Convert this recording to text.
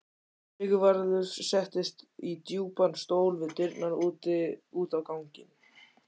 Sigvarður settist í djúpan stól við dyrnar út á ganginn.